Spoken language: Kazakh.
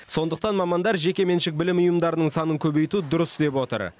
сондықтан мамандар жекеменшік білім ұйымдарының санын көбейту дұрыс деп отыр